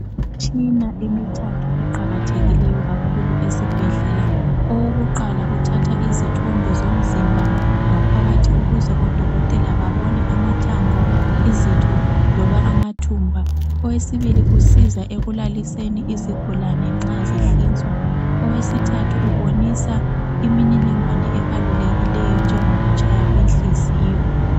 Imitshina emithathu eqakathekileyo kakhulu esibhedlela. Owokuqala uthatha izithombe zomzimba ngaphakathi ukuze odokotela babone amathambo, izitho loba amathumba. Owesibili usiza ekulaliseni usiza ekulaliseni isigulani nxa sihlinzwa. Owesithathu ubonisa imininingwane enjengokutshaya kwenhliziyo.